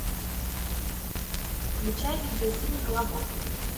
включай видеофильм колобок